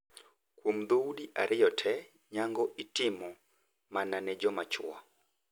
Kuom dhoudi ariyogi tee, nyango itimo mana ne joma chwo.